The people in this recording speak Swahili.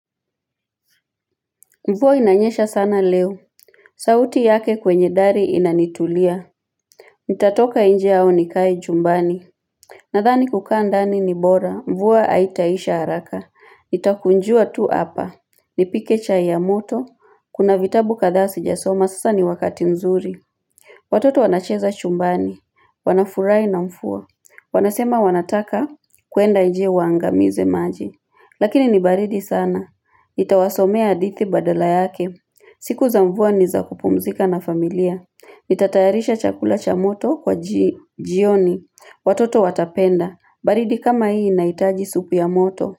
Mvua inanyesha sana leo. Sauti yake kwenye dari inanitulia. Nitatoka nje au nikae chumbani. Nadhani kukaa ndani ni bora. Mvua haitaisha haraka. Nitakunjua tu hapa. Nipike chai ya moto. Kuna vitabu kadhaa sijasoma. Sasa ni wakati nzuri. Watoto wanacheza chumbani. Wanafurahi na mvua. Wanasema wanataka kuenda nje waangamize maji. Lakini ni baridi sana. Nitawasomea hadithi badala yake. Siku za mvua ni za kupumzika na familia. Nitatayarisha chakula cha moto kwa jioni. Watoto watapenda. Baridi kama hii inahitaji supu ya moto.